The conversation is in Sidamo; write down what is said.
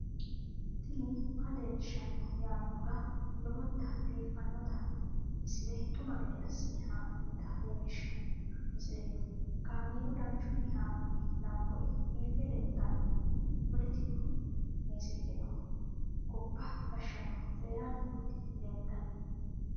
tini maa leelishshanno yaannohura lowonta biiffanota misile xuma gede assine haa'noonnita leellishshanno misileeti kaameru danchunni haa'noonni lamboe biiffe leeeltanno poletiku massagaano gobba gashshinohu coyranni nooti leeltanno